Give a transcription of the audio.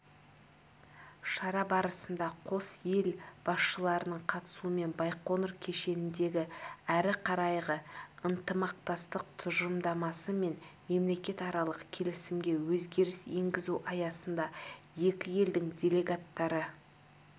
шара барысында қос ел басшыларының қатысуымен байқоңыр кешеніндегі әрі қарайғы ынтымақтастық тұжырымдамасы мен мемлекетаралық келісімге өзгеріс енгізу аясында екі елдің делегаттары